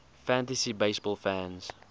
fantasy baseball fans